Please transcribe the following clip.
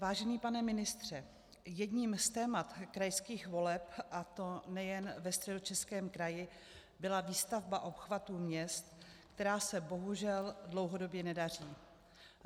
Vážený pane ministře, jedním z témat krajských voleb, a to nejen ve Středočeském kraji, byla výstavba obchvatu měst, která se bohužel dlouhodobě nedaří.